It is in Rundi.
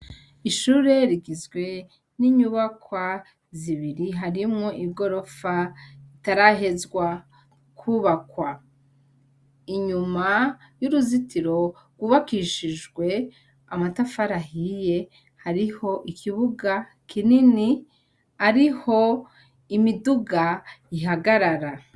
Ishure rigizwe n'inyubakwa zibiri harimwo ibgorofa itarahezwa kwubakwa inyuma y'uruzitiro rwubakishijwe amatafarahiye hariho ikibuga kinini ariho imie iduga ihagarara.